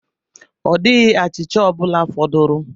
Ọ dịghị achịcha ọ bụla fọdụrụ.